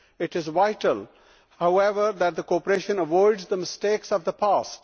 It is vital, however, that the cooperation avoids the mistakes of the past.